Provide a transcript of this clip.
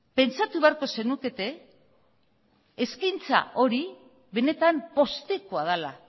pentsatu beharko zenukete eskaintza hori benetan poztekoa dela